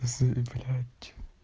заявлять